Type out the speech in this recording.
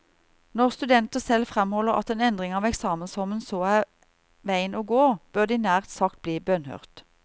Når studenter selv fremholder at en endring av eksamensformen så er veien å gå, bør de nær sagt bli bønnhørt.